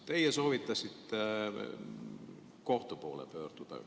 Teie soovitasite kohtu poole pöörduda.